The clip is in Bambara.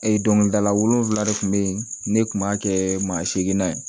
dɔnkilidala wolonwula de tun bɛ yen ne tun b'a kɛ maa segi na ye